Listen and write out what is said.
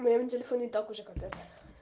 моем телефоне итак уже капец